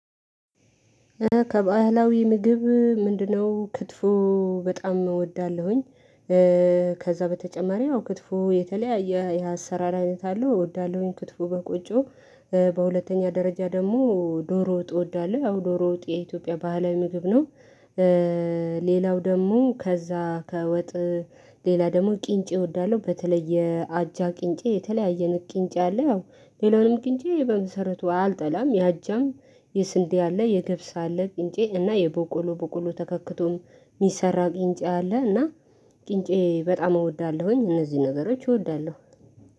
ከባህላዊ ምግብ ምንድነው? ክትፎ በጣም እወዳለሁኝ። ከዛ በተጨማሪ ክትፎ የተለያየ የአሰራር አይነት አለው እወዳለሁኝ ክትፎ በቆጮ በሁለተኛ ደረጃ ደግሞ ዶሮ ወጥ እወዳለሁ ያው ዶሮ ወጥ የኢትዮጵያ ባህላዊ ምግብ ነው። ሌላው ደግሞ ከዛ ከወጥ ሌላ ደግሞ ቂንጬ እወዳለሁ በተለየ አጃ ቂንጬ የተለያየ ቅንጫ አለ ያው ሌላውንም ቅንጬ በመሰረቱ አልጠላም የአጃም የስንዴ አለ የገብስ አለ ቂንጬ እና የቦቆሎ ቦቆሎ ተከክቶን የሚሰራ ቂንጬ አለ እና ቂንጬ በጣም እወዳለሁኝ። እነዚህ ነገሮች እወዳለሁ።